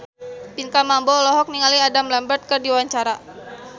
Pinkan Mambo olohok ningali Adam Lambert keur diwawancara